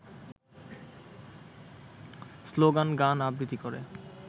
স্লোগান-গান-আবৃত্তি করে